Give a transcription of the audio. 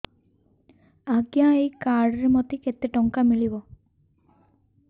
ଆଜ୍ଞା ଏଇ କାର୍ଡ ରେ ମୋତେ କେତେ ଟଙ୍କା ମିଳିବ